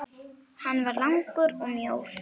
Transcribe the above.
Hann var langur og mjór.